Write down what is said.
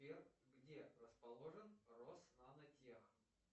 сбер где расположен роснанотех